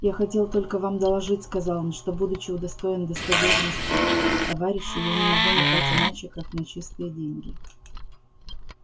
я хотел только вам доложить сказал он что будучи удостоен доверенности товарищей я не могу метать иначе как на чистые деньги